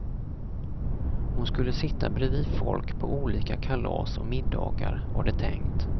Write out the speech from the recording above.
Hon skulle sitta bredvid folk på olika kalas och middagar, var det tänkt.